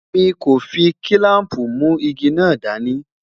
mí kò fí kilampu mu ìgi nà dání